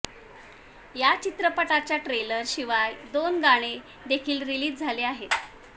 या चित्रपटाच्या ट्रेलर शिवाय दोन गाणे देखील रिलीज झाले आहेत